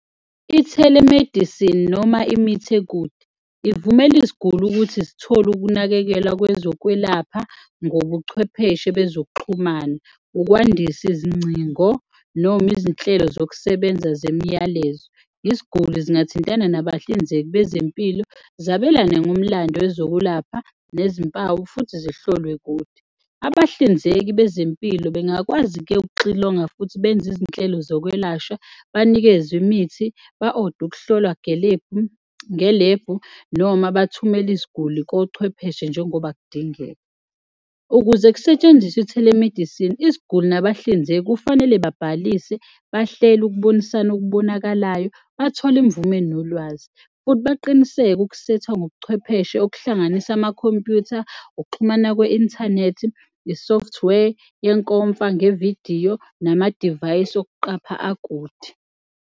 I-telemedicine noma imithi ekude ivumela iziguli ukuthi zithole ukunakekelwa lwezokwelapha ngobuchwepheshe bezokuxhumana, ukwandisa izingcingo noma izinhlelo zokusebenza zemiyalezo. Iziguli zingathintana nabahlinzeki bezempilo, zabelane ngomlando ezokelapha nezimpawu futhi zihlolwe kude. Abahlinzeki bezempilo bengakwazi-ke ukuxilonga futhi benze izinhlelo zokwelashwa, banikezwe imithi, ba-ode ukuhlolwa ngelevu noma bathumele iziguli kochwepheshe njengoba kudingeka. Ukuze kusetshenziswe i-telemedicine, iziguli nabahlinzeki kufanele babhalise, bahlele ukubonisana okubonakalayo, bathole imvume nolwazi futhi baqiniseke ukusethwa ngobuchwepheshe okuhlanganisa amakhompuyutha, ukuxhumana kwe-inthanethi, i-software yenkomfa ngevidiyo namadivayisi okuqapha akude.